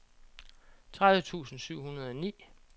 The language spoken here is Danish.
tredive tusind syv hundrede og ni